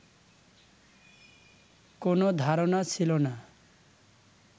কোন ধারণা ছিল না